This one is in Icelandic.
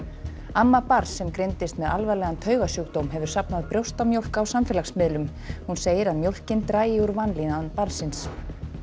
amma barns sem greindist með alvarlegan hefur safnað brjóstamjólk á samfélagsmiðlum hún segir að mjólkin dragi úr vanlíðan barnsins